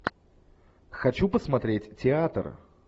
хочу посмотреть театр